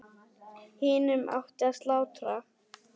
Hinum átti að slátra.